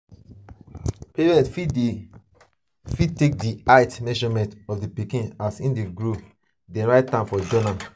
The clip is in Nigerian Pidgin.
parents fit take di height measurement of di pikin as im dey grow then write am for journal